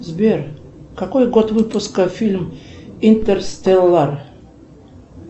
сбер какой год выпуска фильм интерстеллар